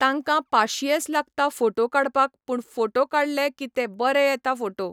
तांकां पाशियेस लागता फोटो काडपाक पूण फोटो काडले की ते बरे येता फोटो